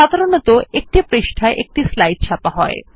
সাধারনতঃ একটি পৃষ্ঠায় একটি স্লাইড ছাপা হয়